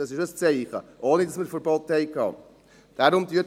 das ist ein Zeichen – ohne dass wir Verbote hatten.